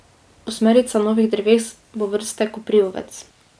Osmerica novih dreves bo vrste koprivovec.